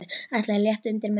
Ætli að létta undir með mömmu.